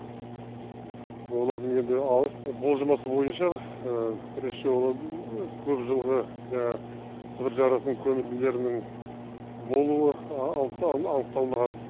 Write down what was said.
олардың енді болжамасы бойынша бірінші ол көпжылғы жаңағы сібір жарасының көбінділерінің болуы анықталмаған